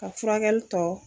Ka furakɛli tɔ